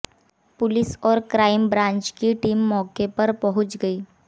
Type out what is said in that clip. police और crime branch की team मौके पर पहुंच गई